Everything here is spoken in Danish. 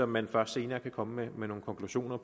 man først senere kan komme med nogle konklusioner